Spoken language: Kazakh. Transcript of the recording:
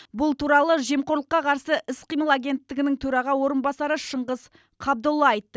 бұл туралы жемқорлыққа қарсы іс қимыл агенттігінің төраға орынбасары шыңғыс қабдолла айтты